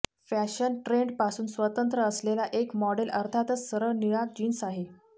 fashion trend पासून स्वतंत्र असलेला एक मॉडेल अर्थातच सरळ निळा जीन्स आहे